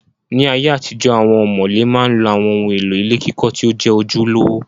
Ní ayé àtijọ, awọn ọ̀mọ̀lé ma ń lo àwọn ohun èlò ilé kíkọ́ tí ó jẹ́ ojúlówó